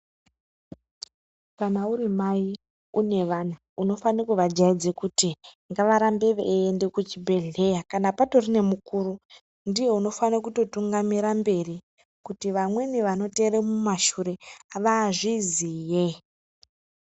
Kana uri mai une vana unofane kuva jaidza kuti ngavarambe veyi enda kuchibhedhleya kana patori nemukuru ndiye unofana kuto tungamira mberi kuti vamweni vanoteere mumashure vazviziye.